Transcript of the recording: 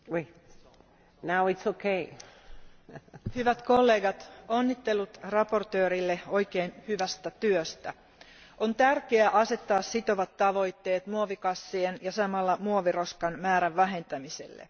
Arvoisa puhemies, hyvät kollegat, onnittelut mietinnön esittelijälle oikein hyvästä työstä. On tärkeää asettaa sitovat tavoitteet muovikassien ja samalla muoviroskan määrän vähentämiselle.